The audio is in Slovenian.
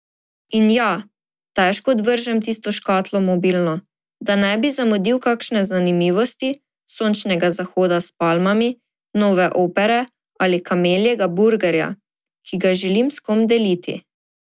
In ja, težko odvržem tisto škatlo mobilno, da ne bi zamudil kakšne zanimivosti, sončnega zahoda s palmami, nove opere ali kameljega burgerja, ki ga želim s kom deliti.